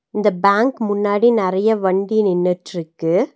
இந்த பேங்க் முன்னாடி நெறைய வண்டி நின்னுட்ருக்கு.